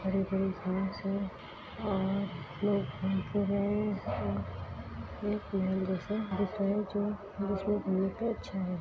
बड़े-बड़े घास है और लोग घूम फिर रहे है एक दिख रहे है जो घूम रहे जो अच्छा है।